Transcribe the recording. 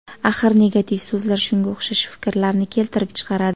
Axir negativ so‘zlar shunga o‘xshash fikrlarni keltirib chiqaradi.